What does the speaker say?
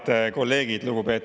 Head kolleegid!